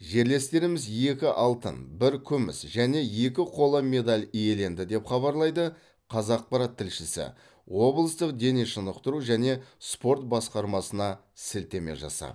жерлестеріміз екі алтын бір күміс және екі қола медаль иеленді деп хабарлайды қазақпарат тілшісі облыстық дене шынықтыру және спорт басқармасына сілтеме жасап